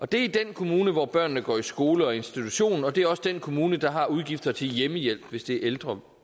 det er i den kommune hvor børnene går i skole og institution og det er også den kommune der har udgifter til hjemmehjælp hvis det er ældre